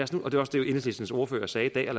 enhedslistens ordfører sagde i dag